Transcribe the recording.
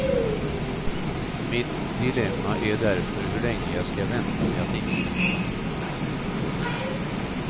Mitt dilemma är därför hur länge jag ska vänta med att ingripa.